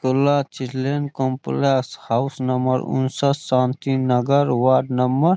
कोल्ला चीलेन complex house number उनसठ Shanti Nagar ward number --